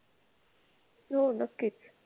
हो नक्कीच.